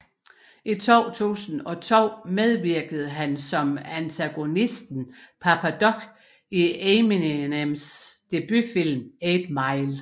I 2002 medvirkede han som antagonisten Papa Doc i Eminems debutfilm 8 Mile